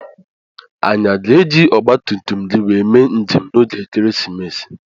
Anyị aga eji ogbatumtum gị wee mee njem na ógè ekeresimesi?